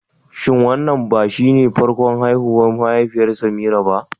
Shin wannan ba shine farkon haihuwar mahaifiyar Semira ba?